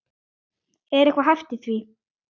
Er eitthvað hæft í því?